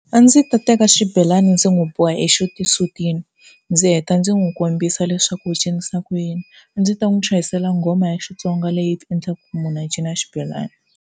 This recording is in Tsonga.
A ndzi ta teka xibelani ndzi n'wi boha exisutini ndzi heta ndzi n'wi kombisa leswaku u cinisa ku yini. A ndzi ta n'wi chuhisela nghoma ya xitsonga leyi endlaka munhu a cina xibelani.